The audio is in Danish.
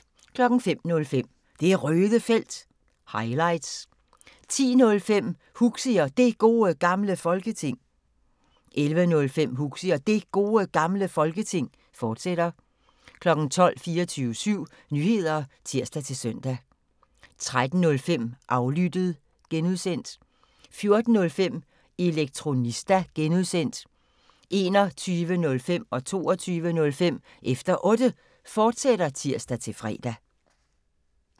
05:05: Det Røde Felt – highlights 10:05: Huxi og Det Gode Gamle Folketing 11:05: Huxi og Det Gode Gamle Folketing, fortsat 12:00: 24syv Nyheder (tir-søn) 13:05: Aflyttet (G) 14:05: Elektronista (G) 21:05: Efter Otte, fortsat (tir-fre) 22:05: Efter Otte, fortsat (tir-fre)